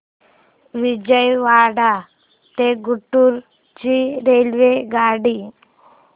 विजयवाडा ते गुंटूर ची रेल्वेगाडी